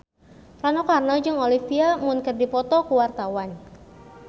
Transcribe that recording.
Rano Karno jeung Olivia Munn keur dipoto ku wartawan